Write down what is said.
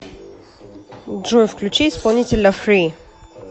джой включи исполнителя фри